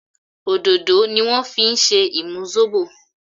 òdodo ni wan fí ṣe imú Zobo